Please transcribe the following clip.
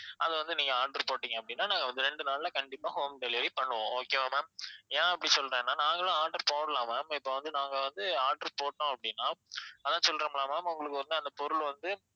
அத வந்து நீங்க order போட்டீங்க அப்படினா நாங்க வந்து ரெண்டு நாள்ல கண்டிப்பா home delivery பண்ணுவோம் okay வா ma'am ஏன் அப்படி சொல்றேன்னா நாங்களும் order போடலாம் ma'am இப்ப வந்து நாங்க வந்து order போடணும் அப்படினா அதான் சொல்றேன் இல்ல ma'am உங்களுக்கு வந்து அந்த பொருள் வந்து